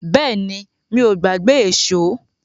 Bẹ́ẹ̀ni, mi ò gbàgbé èṣó.